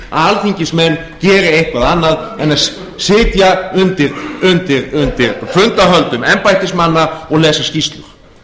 alþingismenn geri eitthvað annað en að sitja undir fundahöldum embættismanna og lesa skýrslur